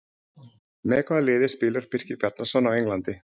Með hvaða liði spilar Birkir Bjarnason á Englandi?